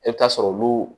I bɛ taa sɔrɔ olu